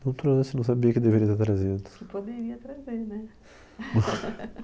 Não trouxe, não sabia que deveria ter trazido. Poderia trazer né